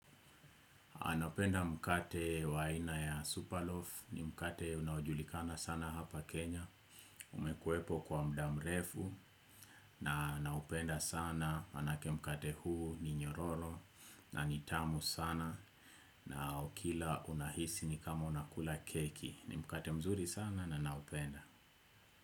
Anapenda mkate wa aina ya superloaf ni mkate unaojulikana sana hapa Kenya. Umekuwepo kwa mudamrefu na naupenda sana manake mkate huu ni nyororo na nitamu sana na ukila unahisi ni kama unakula keki. Ni mkate mzuri sana na naupenda.